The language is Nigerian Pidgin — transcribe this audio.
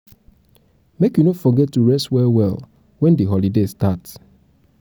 make you no forget to rest well-well wen di holiday start.